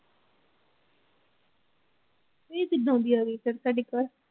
ਇਹ ਕਿੱਦਾਂ ਦੀ ਆ ਗਈ ਸਾਡੇ ਘਰ।